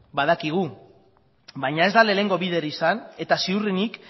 badakigu baina ez da lehenengo bider izan eta ziurrenik